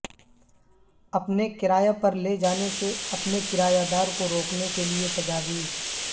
اپنے کرایہ پر لے جانے سے اپنے کرایہ دار کو روکنے کے لئے تجاویز